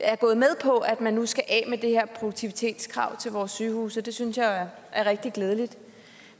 er gået med på at man nu skal af med det her produktivitetskrav til vores sygehuse og det synes jeg er rigtig glædeligt